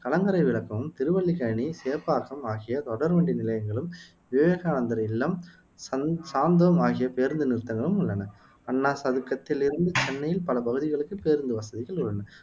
கலங்கரை விளக்கம், திருவல்லிக்கேணி, சேப்பாக்கம் ஆகிய தொடர்வண்டி நிலையங்களும், விவேகானந்தர் இல்லம், சந்த் சாந்தோம் ஆகிய பேருந்து நிறுத்தங்களும் உள்ளன அண்ணா சதுக்கத்தில் இருந்து சென்னையின் பல பகுதிகளுக்கு பேருந்து வசதிகளும் உள்ளன